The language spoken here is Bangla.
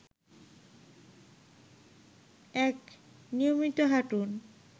১. নিয়মিত হাঁটুন